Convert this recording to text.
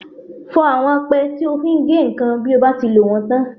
Fọ àwọn apẹ́ tí o fi ń gé nǹkan bí o bá ti lò wọ́n tán.